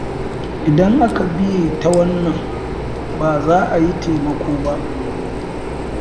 Idan aka biye ta wannan ba za a yi taimako ba.